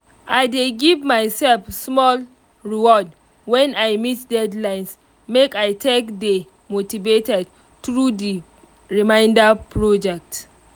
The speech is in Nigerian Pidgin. i dey give myself small reward when i meet deadlines um make i take dey motivated through the remainder project